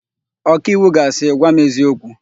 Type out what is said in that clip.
Ọkaiwu ga asị, "gwa m eziokwu"!